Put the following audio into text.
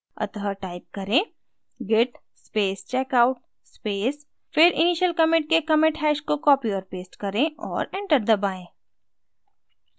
अतः type करें: git space checkout space फिर initial commit के commit hash को copy और paste करें और enter दबाएँ